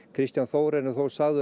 Kristján Þór er þó sagður